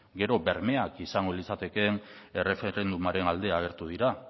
gero bermeak izango litzatekeen erreferendumaren alde agertu dira